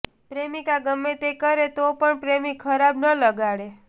પ્રેમિકા ગમે તે કરે તો પણ પ્રેમી ખરાબ ન લગાડે